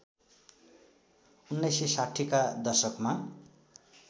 १९६० का दशकमा